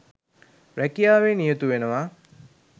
රැකියාවේ නියතු වෙනවා.